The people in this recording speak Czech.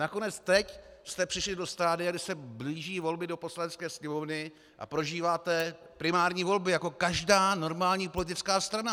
Nakonec teď jste přišli do stadia, kdy se blíží volby do Poslanecké sněmovny a prožíváte primární volby jako každá normální politická strana.